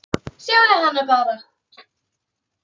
Sjáðu hana bara!